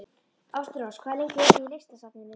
Ástrós, hvað er lengi opið í Listasafninu?